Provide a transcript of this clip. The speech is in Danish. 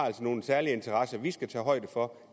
nogle særlige interesser som vi skal tage højde for